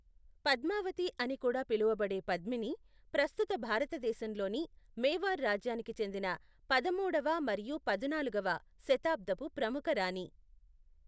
పద్మావతి అని కూడా పిలువబడే పద్మిని, ప్రస్తుత భారతదేశంలోని మేవార్ రాజ్యానికి చెందిన పదమూడవ మరియు పదునాలుగవ శతాబ్దపు ప్రముఖ రాణి.